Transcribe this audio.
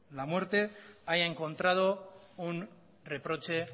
la muerte haya encontrado un reproche